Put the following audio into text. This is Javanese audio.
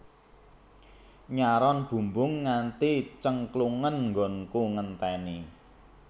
Nyaron bumbung nganti cengklungen nggonku ngenteni